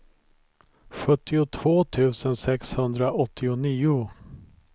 sjuttiotvå tusen sexhundraåttionio